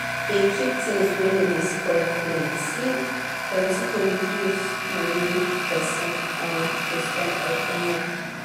dey keep things wey no dey spoil plenty plenty go reduce money wey person um go spend every month